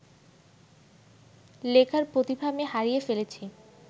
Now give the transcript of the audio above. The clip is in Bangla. লেখার প্রতিভা আমি হারিয়ে ফেলেছি